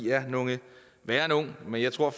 er nogle værre nogle men jeg tror at